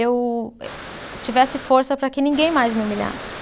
Eu ti tivesse força para que ninguém mais me humilhasse.